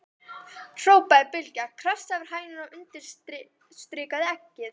hrópaði Bylgja, krassaði yfir hænuna og undirstrikaði eggið.